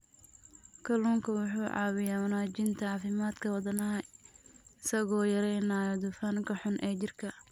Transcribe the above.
Kalluunku wuxuu caawiyaa wanaajinta caafimaadka wadnaha isagoo yareynaya dufanka xun ee jirka.